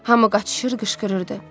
Hamı qaçışır, qışqırırdı.